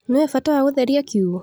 Nĩũĩ bata wa gũtheria kiugũ.